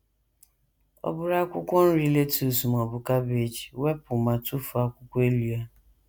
Ọ bụrụ akwụkwọ nri lettuce ma ọ bụ cabbage, wepụ ma tụfuo akwụkwọ elu ya.